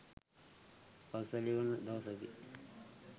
පසුතැවිලි වන දවසකි.